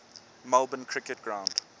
melbourne cricket ground